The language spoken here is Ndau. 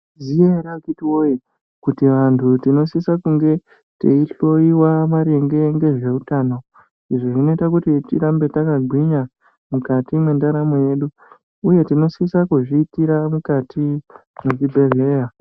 Zviriyo ere akiti woye kuti vanthu tinosisa kunge teihloyiwa maringe ngezveutano izvi zvinoite kuti tirambe takagwinya mukati mwendaramo yedu uye tinosisa kuzviitira mukati mwezvibhedhleya.